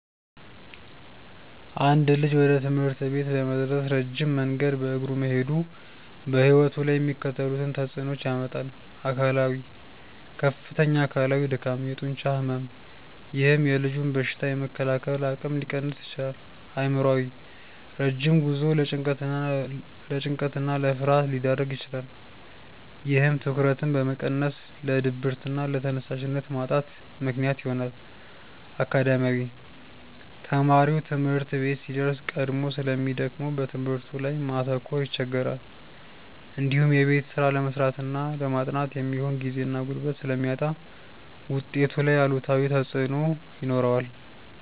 አንድ ልጅ ወደ ትምህርት ቤት ለመድረስ ረጅም መንገድ በእግሩ መሄዱ በሕይወቱ ላይ የሚከተሉትን ተጽዕኖዎች ያመጣል፦ አካላዊ፦ ከፍተኛ አካላዊ ድካም፣ የጡንቻ ሕመም፥፥ ይህም የልጁን በሽታ የመከላከል አቅም ሊቀንስ ይችላል። አእምሯዊ፦ ረጅም ጉዞው ለጭንቀትና ለፍርሃት ሊዳርግ ይችላል። ይህም ትኩረትን በመቀነስ ለድብርትና ለተነሳሽነት ማጣት ምክንያት ይሆናል። አካዳሚያዊ፦ ተማሪው ትምህርት ቤት ሲደርስ ቀድሞ ስለሚደክመው በትምህርቱ ላይ ማተኮር ይቸገራል። እንዲሁም የቤት ስራ ለመስራትና ለማጥናት የሚሆን ጊዜና ጉልበት ስለሚያጣ ውጤቱ ላይ አሉታዊ ተጽዕኖ ይኖረዋል።